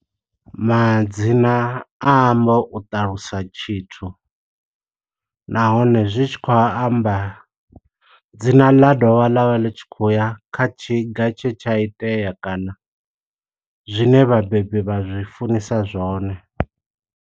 Madzina a amba u ṱalusa tshithu, nahone zwi tshi khou amba dzina ḽa dovha ḽavha ḽi tshi khou ya kha tshiga tshe tsha itea. Kana zwine vhabebi vha zwi funisa zwone.